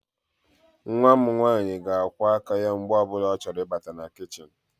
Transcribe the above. Nwa m nwaanyị ga-akwọ aka ya mgbe ọbụla ọ chọrọ Ị bata na kichin.